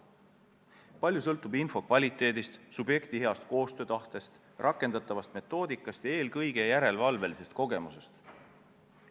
Palju sõltub info kvaliteedist, subjekti koostöötahtest, rakendatavast metoodikast ja eelkõige järelevalve kogemusest.